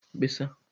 mkpesa